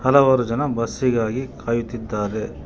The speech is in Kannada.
ಹಲವಾರು ಜನ ಬಸ್ಸಿ ಗಾಗಿ ಕಾಯುತ್ತಿದ್ದಾರೆ.